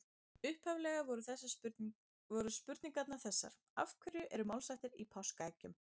Upphaflega voru spurningarnar þessar: Af hverju eru málshættir í páskaeggjum?